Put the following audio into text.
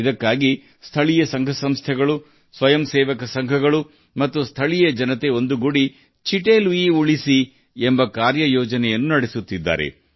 ಇದಕ್ಕಾಗಿ ಸ್ಥಳೀಯ ಸಂಸ್ಥೆಗಳು ಸ್ವಯಂಸೇವಾ ಸಂಸ್ಥೆಗಳು ಮತ್ತು ಸ್ಥಳೀಯ ಜನರು ಒಟ್ಟಾಗಿ ಚಿಟ್ಟೆ ಲುಯಿ ರಕ್ಷಿಸಿ ಎಂಬ ಕ್ರಿಯಾ ಯೋಜನೆಯನ್ನು ಅನುಷ್ಟಾನಿಸುತ್ತಿದ್ದಾರೆ